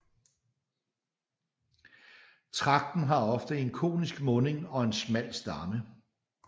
Tragten har ofte en konisk munding og en smal stamme